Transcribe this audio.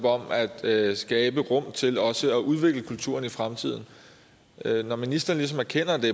at skabe rum til også at udvikle kulturen i fremtiden når ministeren ligesom erkender at det